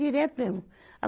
Direto mesmo. a